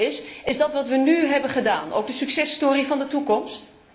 Mijn vraag is is dat wat we nu hebben gedaan ook de succes story van de toekomst?